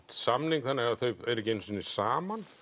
samning þannig að þau eru ekki einu sinni saman